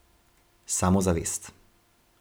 Samozavest.